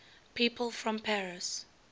people from paris